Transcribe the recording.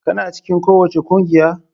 Kana cikin kowace kungiya?